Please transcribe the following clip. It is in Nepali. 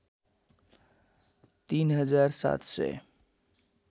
३ हजार ७ सय